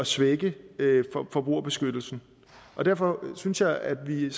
svække forbrugerbeskyttelsen og derfor synes jeg at vi vi